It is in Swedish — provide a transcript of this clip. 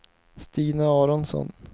Stina Aronsson